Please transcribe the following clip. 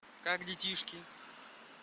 как детишки